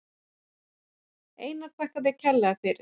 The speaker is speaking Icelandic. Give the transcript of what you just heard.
Einar þakka þér kærlega fyrir.